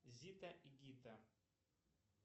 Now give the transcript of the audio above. зита и гита